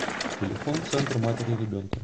телефон центр матери и ребенка